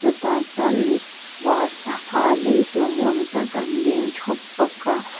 chutah chuan mipa sangha lei tur ni awm tak an ding ṭhup bawka--